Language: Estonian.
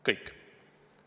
Kõik!